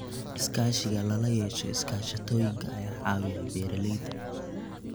Iskaashiga lala yeesho iskaashatooyinka ayaa caawiya beeralayda.